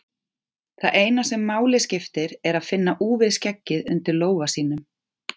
Það eina sem máli skiptir er að finna úfið skeggið undir lófa sínum.